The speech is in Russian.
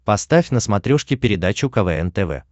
поставь на смотрешке передачу квн тв